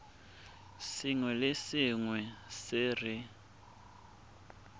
sengwe le sengwe se re